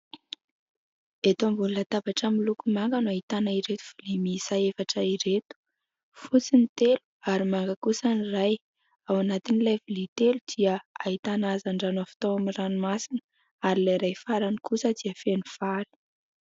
Eto ambony latabatra miloko manga no ahitana ireto vilia miisa efatra ireto : fotsy ny telo ary manga kosa ny iray. Ao anatin'ilay vilia telo dia ahitana hazandrano avy tao amin'ny ranomasina ary ilay iray farany kosa dia feno vary.